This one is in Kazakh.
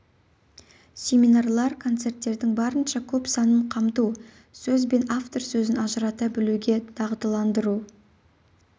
семинарлар концерттердің барынша көп санын қамту сөз бен автор сөзін ажырата білуге дағдыландыру